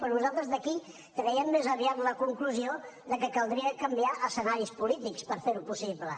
però nosaltres d’aquí traiem més aviat la conclusió que caldria canviar escenaris polítics per fer ho possible